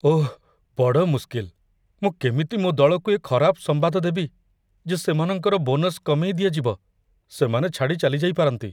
ଓଃ ବଡ଼ ମୁସ୍କିଲ, ମୁଁ କେମିତି ମୋ ଦଳକୁ ଏ ଖରାପ ସମ୍ବାଦ ଦେବି, ଯେ ସେମାନଙ୍କର ବୋନସ କମେଇ ଦିଆଯିବ? ସେମାନେ ଛାଡ଼ି ଚାଲିଯାଇପାରନ୍ତି।